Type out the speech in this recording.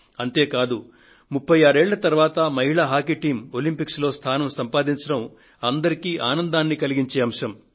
అంతే కాకుండా 36 సంవత్సరాల తరువాత మహిళా హాకీ టీమ్ ఒలంపిక్స్ లో స్థానాన్ని సంపాదించడం అందరికీ ఆనందం కలిగించే అంశం